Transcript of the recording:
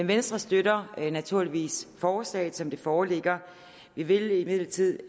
venstre støtter naturligvis forslaget som det foreligger vi vil imidlertid